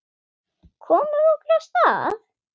Komum okkur af stað.